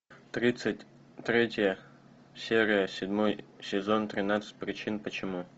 тридцать третья серия седьмой сезон тринадцать причин почему